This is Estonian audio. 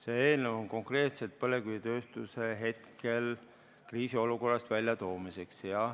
See eelnõu on konkreetselt põlevkivitööstuse kriisiolukorrast väljatoomiseks.